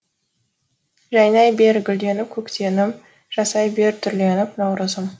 жайнай бер гүлденіп көктемім жасай бер түрленіп наурызым